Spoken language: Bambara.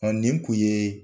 nin kun ye